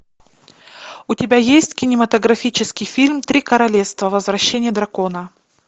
у тебя есть кинематографический фильм три королевства возвращение дракона